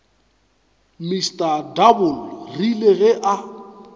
mr double rile ge a